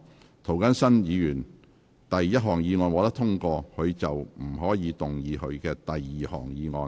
若涂謹申議員的第一項議案獲得通過，他便不可動議他的第二項議案。